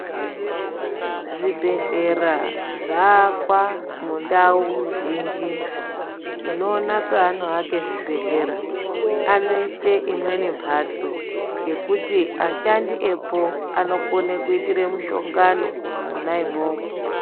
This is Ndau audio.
Zvi bhehlera zva akwa mu ndau zhinji tinoona pavano vaka zvi bhedhlera ano ise imweni mbatso yekuti ashandi epo anogona kuita mu shongano mwona imwomo.